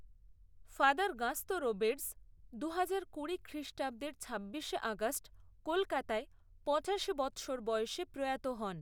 Father Gaston Roberge দুহাজার কুড়ি খ্রিষ্টাব্দের ছাব্বিশে আগস্ট কলকাতায় পঁচাশি বৎসর বয়সে প্রয়াত হন।